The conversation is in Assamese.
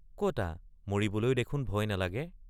কতা মৰিবলৈ দেখোন ভয় নালাগে?